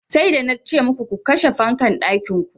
Sai da nace muku ku kashe fankan ɗakin ku.